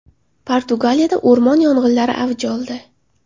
Portugaliyada o‘rmon yong‘inlari avj oldi.